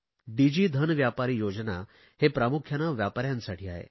डिजी धन व्यापारी योजना ही प्रामुख्याने व्यापाऱ्यांसाठी आहे